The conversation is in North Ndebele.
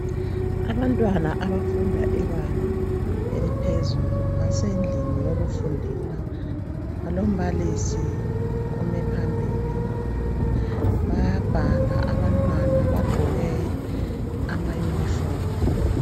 Abantwana abafunda imnfundo ephakemeyo benza izifundo zabo bengagodoli bengatshiswa lilanga begqoka amayunifomu balombalisi wabo .